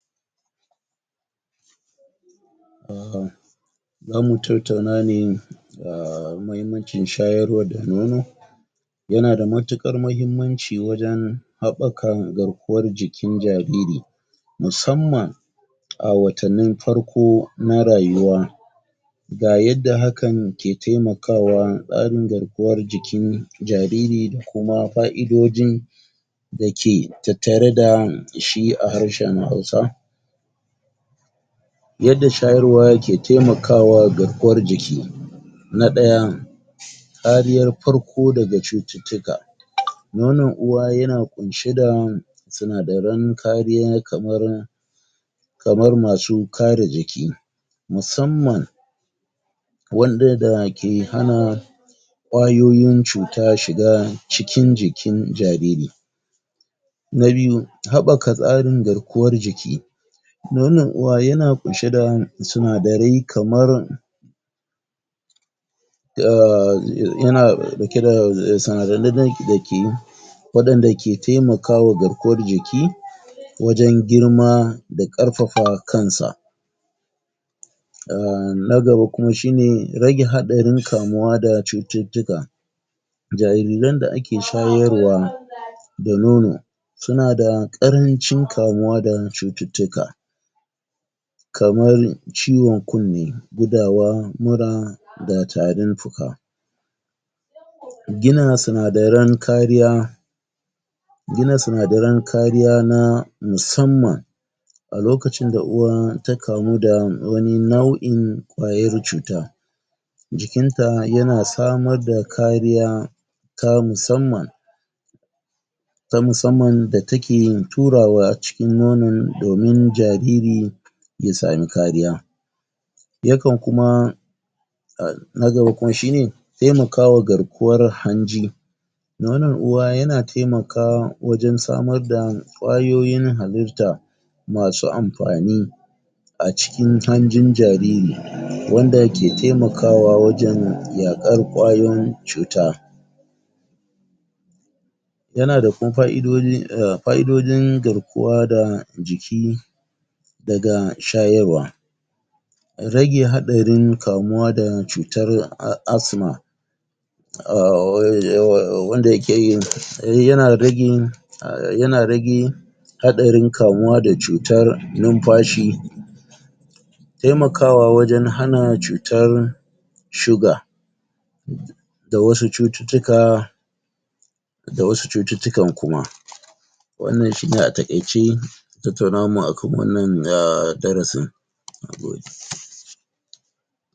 um zamu tartauna ne um mahimmancin shayarwa da nono yanada matuƙar mahimmanci wajen haɓaka garkuwar jikin jariri musamman a watannin farko na rayuwa ga yadda hakan ke temakawa tsarin garkuwar jikin jariri da kuma fa'idojin dake tattare da shi a harshen Hausa yadda shayarwa ke temakawa garkuwar jiki Na ɗaya kariyar farko daga cututtuka nonon uwa yana ƙunshe da sinadaran kariya kamar kamar masu kare jiki musamman wanda da ke hana ƙwayoyin cuta shiga cikin jikin jariri Na biyu Haɓaka tsarin garkuwar jiki Nonon uwa yana ƙunshe da sinadarai kamar um ya yana ɗauke da sina na na? dake waɗanda ke temakawa garkuwar jiki wajen girma da ƙarfafa kansa um na gaba kuma shine, rage haɗarin kamuwa da cututtuka jariran da ake shayarwa da nono sunada ƙarancin kamuwa da cututtuka kamar ciwon kunne, gudawa, mura da tarin fuka Gina sinadaran kariya gina sinadaran kariya na musamman A lokacin da uwa ta kamu da wani nau'in ƙwayar cuta jikinta yana samar da kariya ta musamman ta musamman da take turawa cikin nonon domin jariri ya sami kariya yakan kuma um na gaba kuma shine temakawa garkuwar hanji Nonon uwa yana temaka wajen samar da ƙwayoyin halitta masu amfani a cikin hanjin jariri, wanda ke temakawa wajen yaƙar ƙwayoyin cuta yanada kum fa'idodi,[um] fa'idodin garkuwa da jiki daga shayarwa rage haɗarin kamuwa da cutar a asma um??? wanda yakeyin yana ragin um yana ragin haɗarin kamuwa da cutar numfashi temakawa wajen hana cutar shuga da wasu cututtuka da wasu cututtukan kuma wannan shine a taƙaice tattaunawar mu akan wannan um darasin nagode.